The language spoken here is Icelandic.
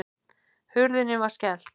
Hurðinni var skellt.